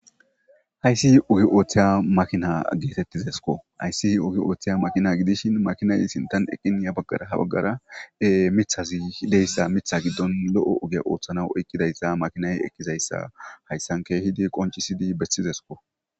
Hayssi ohi ooththiya makina geetettizesko hayssi ugi ooththiya makina gidishin makinay sintan eqqiniya baggara ha baggara mithazi hideyssa mitha giddon lo'o oge ooththana oykkidayssa makinay ekizayssa hayssan keehidi qoncisidi bessizesko.